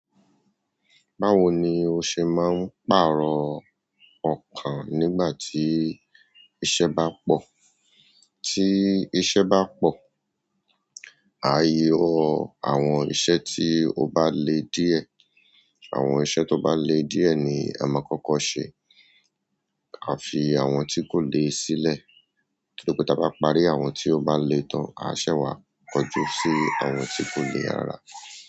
Báwo ni o ṣe máa ń pàrọ̀ okan nígbà tí iṣẹ́ bá pọ̀? Tí iṣẹ́ bá pọ̀, ààyè àwọn iṣẹ́ tí ó bá le díẹ̀, àwọn iṣẹ́ tó bá le díẹ̀ ni a máa kọ́kọ́ ṣe. A fi àwọn tí kò le sílẹ̀. Torí pé tí a bá parí àwọn tí ó bá le tán, á ṣẹ́ wá kọjú sí àwọn tí kò le rárá.